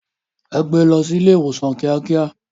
Ẹ gbé lọ sí ilé ìwòsàn kíákíá.